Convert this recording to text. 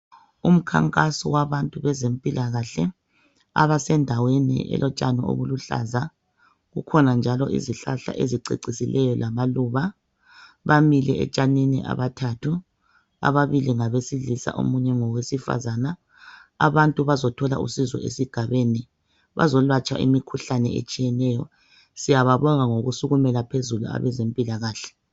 Umkhankaso wabantu bezempilakahle , abasendaweni elotshani obuluhlaza, kukhona njalo izihlahla ezicecisileyo lamaluba , bamile etshanini abathathu , ababili ngabesilisa omunye ngowesifazane , abantu bazothola usizo esigabeni , bazolatshwa imikhuhlane etshiyeneyo , siyababonga ngokusukumela phezulu abezempilakahle